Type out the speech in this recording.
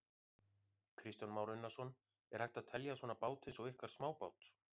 Kristján Már Unnarsson: Er hægt að telja svona bát eins og ykkar smábát?